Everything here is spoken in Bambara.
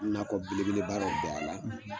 Nakɔ belebeleba dɔ bin a la